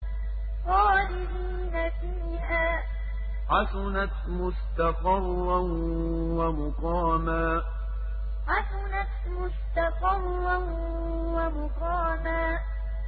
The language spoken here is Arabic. خَالِدِينَ فِيهَا ۚ حَسُنَتْ مُسْتَقَرًّا وَمُقَامًا خَالِدِينَ فِيهَا ۚ حَسُنَتْ مُسْتَقَرًّا وَمُقَامًا